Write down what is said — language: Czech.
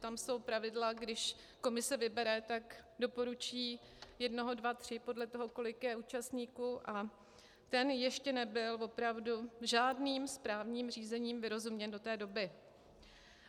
Přitom jsou pravidla, když komise vybere, tak doporučí jednoho, dva, tři, podle toho, kolik je účastníků, a ten ještě nebyl opravdu žádným správním řízením vyrozuměn do té doby.